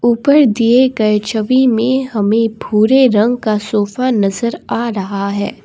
ऊपर दिए गए छवि में हमे भूरे रंग का सोफा नजर आ रहा है।